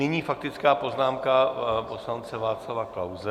Nyní faktická poznámka poslance Václava Klause.